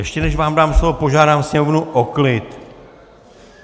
Ještě než vám dám slovo, požádám sněmovnu o klid.